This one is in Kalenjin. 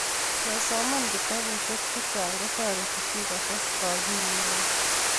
kesoman kitabusiek chechang kotoreti chii kutes akilinyi